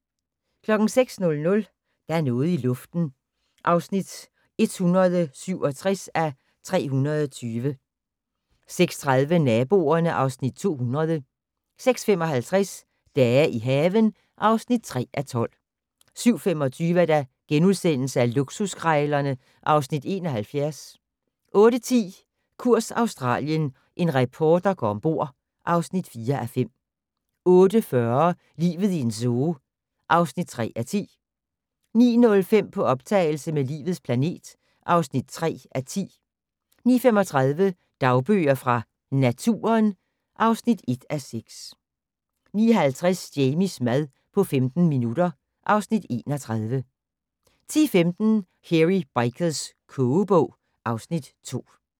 06:00: Der er noget i luften (167:320) 06:30: Naboerne (Afs. 200) 06:55: Dage i haven (3:12) 07:25: Luksuskrejlerne (Afs. 71)* 08:10: Kurs Australien - en reporter går ombord (4:5) 08:40: Livet i en zoo (3:10) 09:05: På optagelse med "Livets planet" (3:10) 09:35: Dagbøger fra Naturen (1:6) 09:50: Jamies mad på 15 minutter (Afs. 31) 10:15: Hairy Bikers kogebog (Afs. 2)